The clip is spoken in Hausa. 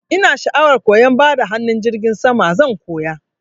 Ina sha'awar koyan bada hanun jirgin sama, zan koya.